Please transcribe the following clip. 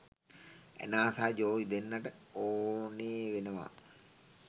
Anna සහ Joey දෙන්නට ඕනේ වෙනවා